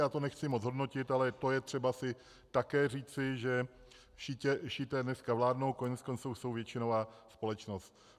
Já to nechci moc hodnotit, ale to je třeba si také říci, že šíité dneska vládnou, koneckonců jsou většinová společnost.